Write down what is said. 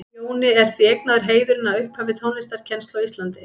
Jóni er því eignaður heiðurinn að upphafi tónlistarkennslu á Íslandi.